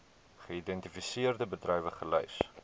geïdentifiseerde bedrywe gelys